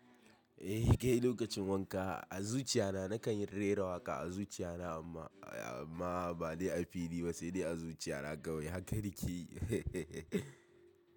Eh kai lokacin wanka a zuciya na nakan rera waƙa a zuciya na amma bade a fili. Ba sai dai a zuciya na kawai haka da ke.